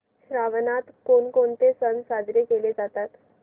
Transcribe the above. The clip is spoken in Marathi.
श्रावणात कोणकोणते सण साजरे केले जातात